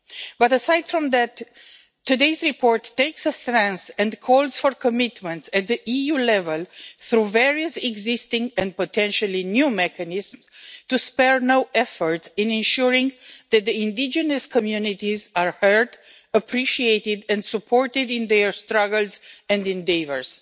But, aside from that, today's report takes a stance and calls for commitments at EU level, through various existing and potentially new mechanisms, to spare no effort in ensuring that indigenous communities are heard, appreciated and supported in their struggles and endeavours.